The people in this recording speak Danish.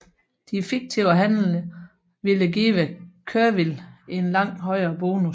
De fiktive handler ville give Kerviel en langt højere bonus